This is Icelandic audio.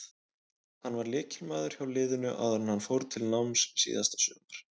Hann var lykilmaður hjá liðinu áður en hann fór til náms síðasta sumar.